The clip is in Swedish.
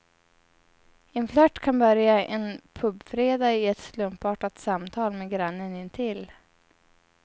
En flört kan börja en pubfredag i ett slumpartat samtal med grannen intill.